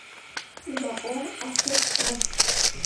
зао автоэкспресс